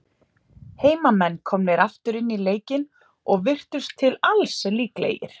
Heimamenn komnir aftur inn í leikinn, og virtust til alls líklegir.